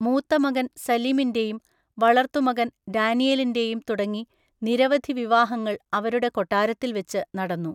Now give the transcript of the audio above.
മൂത്തമകൻ സലിമിൻ്റെയും വളർത്തുമകൻ ഡാനിയലിൻ്റെയും തുടങ്ങി നിരവധി വിവാഹങ്ങൾ അവരുടെ കൊട്ടാരത്തിൽവെച്ച് നടന്നു.